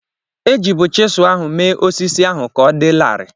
E jibu chịselu ahụ me osisi ahụ ka ọ dị larịị.